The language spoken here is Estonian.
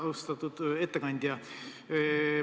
Austatud ettekandja!